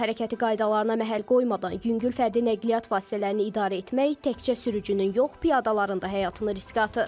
Yol hərəkəti qaydalarına məhəl qoymadan yüngül fərdi nəqliyyat vasitələrini idarə etmək təkcə sürücünün yox, piyadaların da həyatını riskə atır.